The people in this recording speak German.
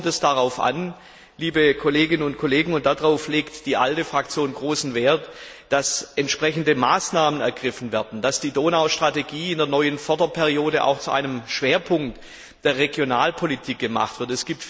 Jetzt kommt es darauf an, liebe Kolleginnen und Kollegen und darauf legt die ALDE Fraktion großen Wert dass entsprechende Maßnahmen ergriffen werden, dass die Donaustrategie in der neuen Förderperiode auch zu einem Schwerpunkt der Regionalpolitik gemacht wird.